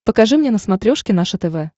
покажи мне на смотрешке наше тв